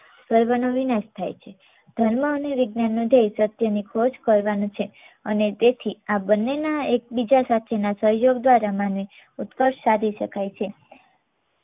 સર્વ નો વિનાશ થાય છે. ધર્મ અને વિજ્ઞાનનો ધ્યેય સત્યની ખોજ કરવાનો છે અને તેથી આ બંનેના એક બીજા સાથેના સહયોગ દ્વારા માનવી ઉત્કર્ષ સાધી શકાય છે.